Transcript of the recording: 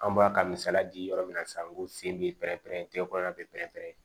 An bɔra ka misaliya di yɔrɔ min na sisan ko sen bɛ pɛrɛn-pɛrɛn bɛɛ pɛrɛn-pɛrɛn